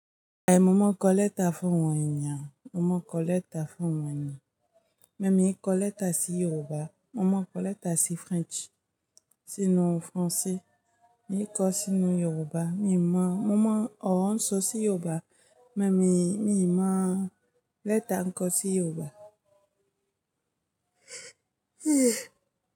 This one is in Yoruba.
Ai mo mọ̀ nkọ lẹ́ta fún awon èeyan, mo mọ̀ n kọ lẹ́ta fún awon eeyàn. Emi o i kọ lẹ́ta sí Yorùbá, mo mọ̀ n kọ lẹ́ta sí Faranse. Sínú Faranse, emi o kọ sínú Yorùbá, mí mọ̀, mo mọ̀ ọ̀run n sọ sí Yorùbá, mẹ́ mí, mí mọ̀ lẹ́ta n kọ sí Yorùbá.